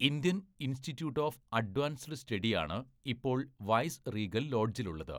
Indian institute of advanced സ്റ്റഡിയാണ് ഇപ്പോൾ vice regal ലോഡ്ജിലുള്ളത്.